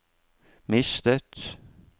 mistet